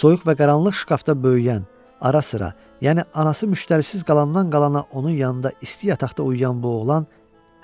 soyuq və qaranlıq şkafda böyüyən, ara-sıra, yəni anası müştərisiz qalandan qalana onun yanında isti yataqda uyuyan bu oğlan